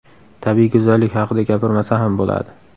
Tabiiy go‘zallik haqida gapirmasa ham bo‘ladi.